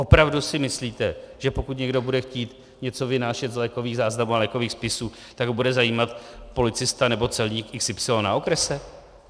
Opravdu si myslíte, že pokud někdo bude chtít něco vynášet z lékových záznamů a lékových spisů, tak ho bude zajímat policista nebo celník XY na okrese?